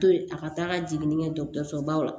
To ye a ka taa ka jiginni kɛ dɔgɔtɔrɔso baw la